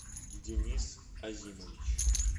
денис азимович